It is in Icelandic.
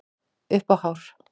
Upp á hár.